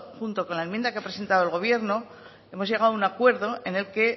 junto con la enmienda que ha presentado el gobierno hemos llegado a un acuerdo en el que